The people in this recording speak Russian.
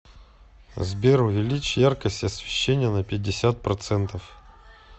сбер увеличь яркость освещения на пятьдесят процентов